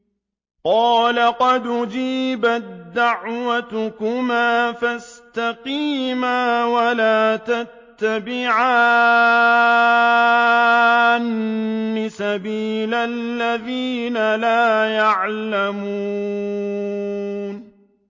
قَالَ قَدْ أُجِيبَت دَّعْوَتُكُمَا فَاسْتَقِيمَا وَلَا تَتَّبِعَانِّ سَبِيلَ الَّذِينَ لَا يَعْلَمُونَ